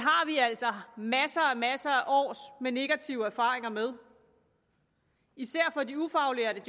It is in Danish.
altså masser og masser af års negativ erfaring med især for de ufaglærte